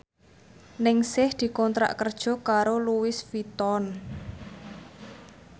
Ningsih dikontrak kerja karo Louis Vuitton